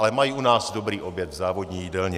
Ale mají u nás dobrý oběd v závodní jídelně.